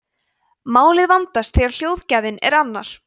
málið vandast þegar hljóðgjafinn er annar